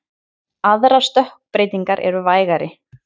Aðrar stökkbreytingar eru vægari.